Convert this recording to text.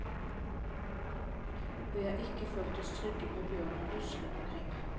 Vi har ikke følt oss trygge med bjørnen luskende omkring.